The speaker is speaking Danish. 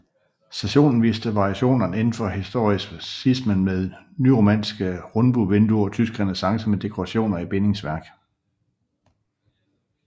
Stationen viser variationerne indenfor historicismen med nyromanske rundbuevinduer og tysk renæssance med dekorationer i bindingsværk